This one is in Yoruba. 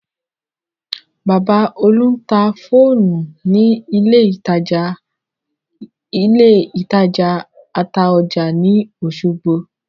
Bàbá Olú ń ta fóònù ní ilé ìtajà Ataoja ní Osogbo